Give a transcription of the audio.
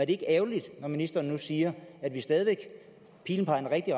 ikke ærgerligt når ministeren nu siger at pilen peger i